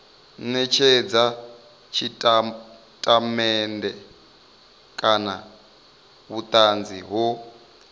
netshedza tshitatamennde kana vhutanzi ho